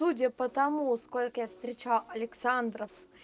судя по тому сколько я встречал александров